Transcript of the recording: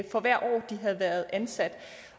for hvert år de havde været ansat